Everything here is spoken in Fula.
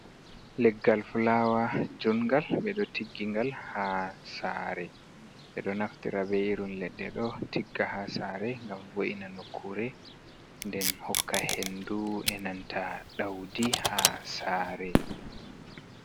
Leggal fulawa jungal be do tiggigal ha sare, bedo naftira be irin ledde do tigga ha sare gam wo’ina nokkure nden hokka hendu e nanta daudi ha sare.